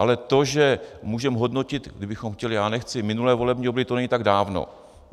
Ale to, že můžeme hodnotit, kdybychom chtěli - já nechci -, minulé volební období, to není tak dávno.